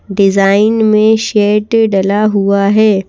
Design में शेट डला हुआ है।